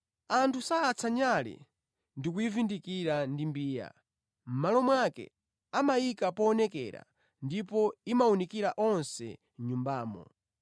Anthu sayatsa nyale ndikuyivundikira ndi mbiya, mʼmalo mwake amayika poonekera ndipo imawunikira onse mʼnyumbamo.